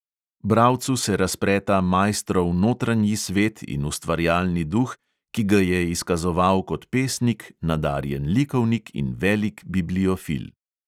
Bralcu se razpreta maistrov notranji svet in ustvarjalni duh, ki ga je izkazoval kot pesnik, nadarjen likovnik in velik bibliofil.